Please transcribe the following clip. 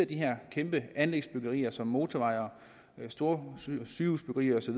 de her kæmpe anlægsbyggerier som motorveje og store sygehusbyggerier osv